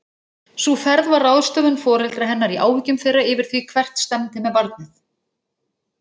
Sú ferð var ráðstöfun foreldra hennar í áhyggjum þeirra yfir því hvert stefndi með barnið.